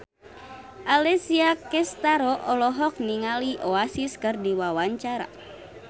Alessia Cestaro olohok ningali Oasis keur diwawancara